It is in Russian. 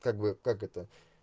как бы как это